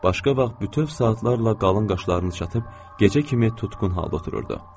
Başqa vaxt bütöv saatlarla qalın qaşlarını çatıb, gecə kimi tutqun halda otururdu.